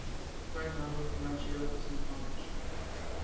kleinhandel finansiële tussengangers